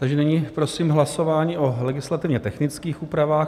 Takže nyní prosím hlasování o legislativně technických úpravách.